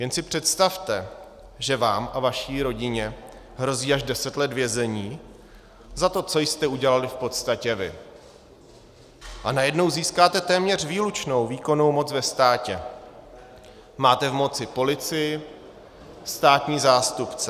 Jen si představte, že vám a vaší rodině hrozí až deset let vězení za to, co jste udělali v podstatě vy, a najednou získáte téměř výlučnou výkonnou moc ve státě, máte v moci policii, státní zástupce.